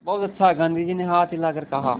बहुत अच्छा गाँधी जी ने हाथ हिलाकर कहा